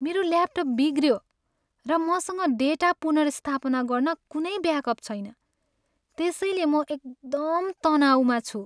मेरो ल्यापटप बिग्रियो र मसँग डेटा पुनर्स्थापना गर्न कुनै ब्याकअप छैन त्यसैले म एकदम तनाउमा छु।